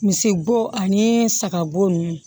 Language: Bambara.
Misibo ani sagabo ninnu